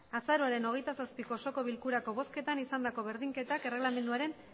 azaroaren hogeita zazpiko osoko bilkurako bozketan izandako berdinketa erreglamenduaren